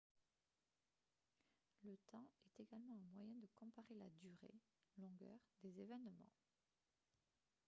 le temps est également un moyen de comparer la durée longueur des événements